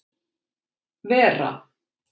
Vera